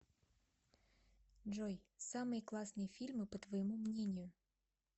джой самые классные фильмы по твоему мнению